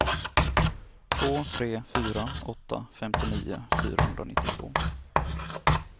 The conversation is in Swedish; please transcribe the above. två tre fyra åtta femtionio fyrahundranittiotvå